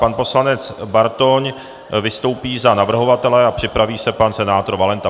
Pan poslanec Bartoň vystoupí za navrhovatele a připraví se pan senátor Valenta.